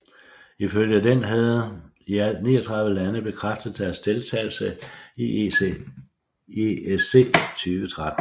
Ifølge den havde i alt 39 lande bekræftet deres deltagelse i ESC 2013